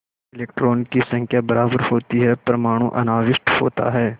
इलेक्ट्रॉनों की संख्या बराबर होती है परमाणु अनाविष्ट होता है